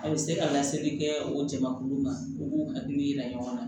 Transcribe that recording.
A bɛ se ka laseli kɛ o jamakulu ma u k'u hakili jira ɲɔgɔn na